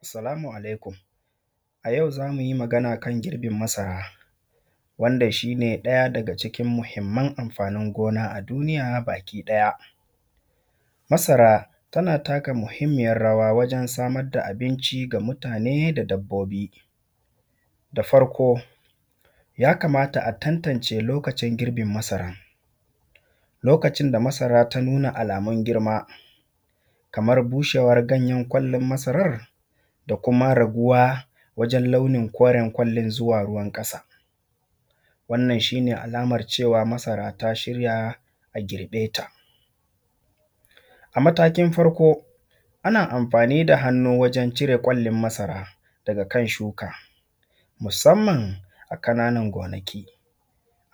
salaamu alaikum a jau za mu ji magana a kan girbin masara wanda ʃine ɗaja daga ʧikin muhimman amfaani goona a duuniija baki ɗaja masara tana taka muhimmiijan rawa waʤen samar da abinʧi ga mutane da dabboobi da farko ja kamata a tattanʧe lookaʧin girbin masara lookaʧin da masara ta nuuna alaamun girma kamar buuʃeewan ganjen ƙwallin masarar da kuma raguwa waʤen launin kooren ƙwallin zuwa ruuwan ƙaasa wannan ʃine alamar ʧewa masara ta ʃirja a girbe ta a mataakin farko ana amfani da hannu waʤen ʧire ƙwallin masara daga kan ʃuuka musanman a ƙananan goonaki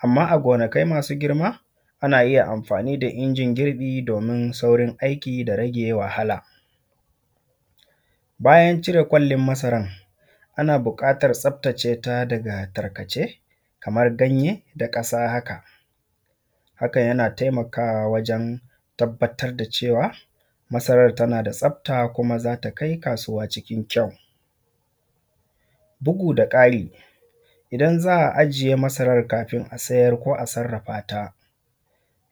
amma a goonakai maasu girma ana ija amfani da inʤin girbi doomin saurin aiki da rage wahala bajan ʧire ƙwallin masaran ana buuƙaatar tsaftaʧe daga tarkaʧe kamar ganje da ƙaasa haka hakan jana taimakawa waʤen tabbatar da ʧewa masarar tana da tsafta kuma za ta kai kaasuuwa ʧikin kjau bugu da ƙaari idan za a iʤije masarar kaafin a sijar ko a sarrafaata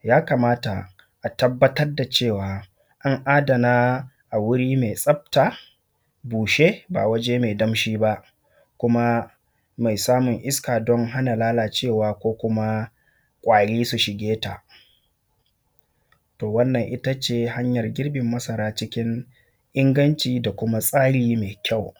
ja kamata a tabbatar da ʧewa an aadana a guuri mai tsafta buuʃe ba waʤe mai danʃii ba kuma mai saamun iska don hana laalaʧewa ko kuma ƙwaari su ʃigee ta to wannan ita ʧe hanjan girbin masara ʧikin inganʧi da kuma tsaari mai kjau